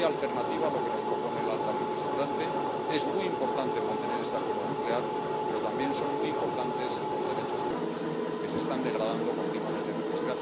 No hay alternativa a lo que nos propone la alta representante. Es muy importante mantener este acuerdo nuclear, pero también son muy importantes los derechos humanos que se están degradando continuamente en el país.